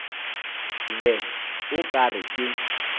be o ka re ke